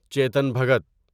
Chetan Bhagat